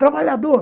Trabalhador.